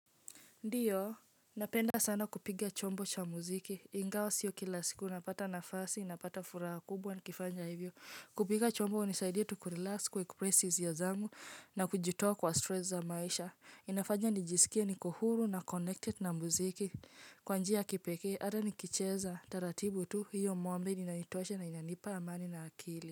Ndiyo, napenda sana kupiga chombo cha muziki. Ingawa sio kila siku napata nafasi, napata furaha kubwa, nikifanya hivyo. Kupiga chombo hunisaidia tu kurelax kuepress hisia zangu na kujitoa kwa stress za maisha. Inafanya nijisikie niko huru na connected na muziki. Kwa njia ya kipekee, hata nikicheza, taratibu tu, hiyo maombi inanitusha na inanipa amani na akili.